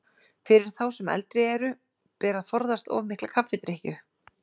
Fyrir þá sem eldri eru ber að forðast of mikla kaffidrykkju.